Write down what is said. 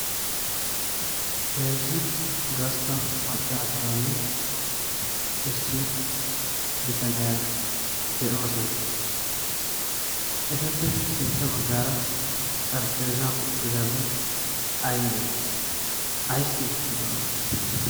heezzu gastta maccaasaanne issi bitaniyaa de7oosana eteppe sintta baggaara xarphpheezan uttidabai aibee? aissi wottidona?